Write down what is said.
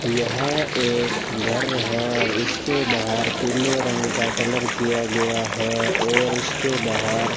यह एक घर है इसके बाहर पीले रंग का कलर किया गया है और इसके बाहर --